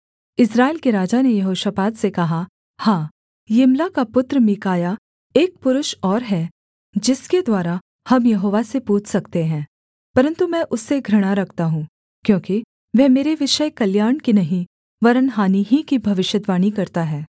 इस्राएल के राजा ने यहोशापात से कहा हाँ यिम्ला का पुत्र मीकायाह एक पुरुष और है जिसके द्वारा हम यहोवा से पूछ सकते हैं परन्तु मैं उससे घृणा रखता हूँ क्योंकि वह मेरे विषय कल्याण की नहीं वरन् हानि ही की भविष्यद्वाणी करता है